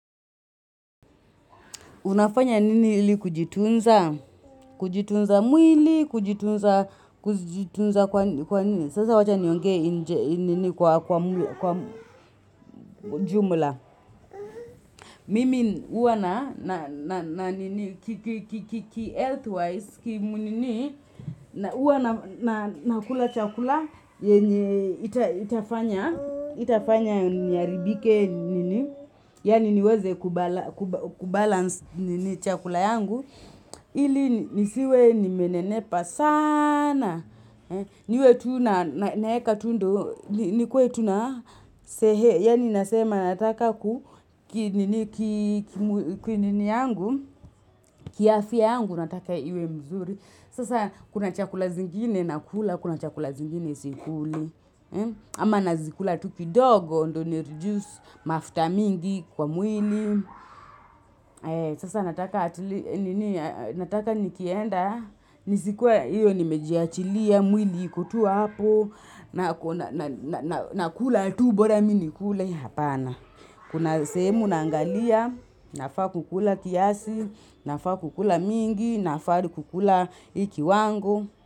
Unafanya nini ili kujitunza, kujitunza mwili, kujitunza kwa nini. Sasa wacha niongee nini kwa jumla. Mimi huwa na nini kihealth wise kimu nini. Huwa na kula chakula yenye haitafanya niharibike nini. Yaani niweze kubalance chakula yangu. Ili nisiwe nimenenepa sana. Niwe tu naeka tu ndio. Nikuwe tuna sehe. Yaani nasema nataka kiafya yangu nataka iwe mzuri. Sasa kuna chakula zingine nakula. Kuna chakula zingine sikuli. Ama nazikula tu kidogo. Ndio nireduce mafuta mingi kwa mwili. Sasa nataka nikienda, nisikuwe nimejiachilia, mwili iko tu hapo, nakula tubora mi nikule, hapana. Kuna sehemu naangalia, nafaa kukula kiasi, nafaa kukula mingi, nafaa kukula hii kiwango.